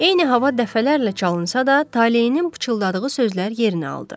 Eyni hava dəfələrlə çalınsa da, Talehin pıçıldadığı sözlər yerinə aldı.